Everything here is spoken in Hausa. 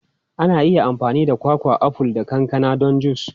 Ana iya amfani da kwakwa, aful, da kankana don jus.